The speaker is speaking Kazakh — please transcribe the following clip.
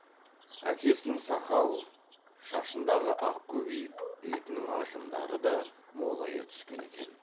әкесінің сақал шашындағы ақ көбейіп бетінің ажымдары да молая түскен екен